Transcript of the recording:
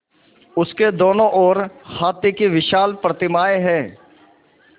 उसके दोनों ओर हाथी की विशाल प्रतिमाएँ हैं